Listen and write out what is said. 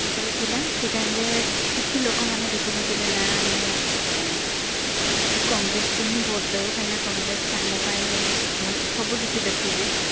ଜେତବେଳେ ଥିଲା ସେଇ time ରେ କିଛି ଲୋକ ମାନେ ଦେଖୁ ନଥିଲେ ନା ଆମେ congress କୁ ହିଁ vote ଦବୁ କାହିଁକି ନାଁ congress ଆମ ପାଇଁ ଭଲ ସବୁ କିଛି ଦେଖୁଛି